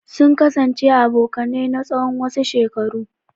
Sun kasance abokanai na tsawon wasu shekaru.